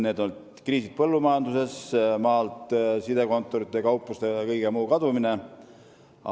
Need on kriisid põllumajanduses, sidekontorite, kaupluste ja kõige muu kadumine maalt.